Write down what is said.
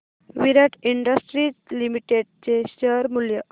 विराट industries limited चे share मूल्य